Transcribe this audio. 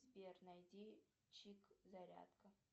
сбер найди чик зарядка